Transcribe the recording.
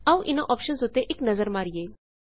ਆਓ ਇਨਾਂ ਓਪਸ਼ਨਸ ਉੱਤੇ ਇੱਕ ਨਜ਼ਰ ਮਾਰੀਏ